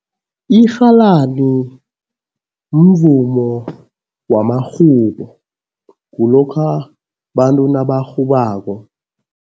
Irhalani mvumo wamarhubo, kulokha bantu nabarhubako.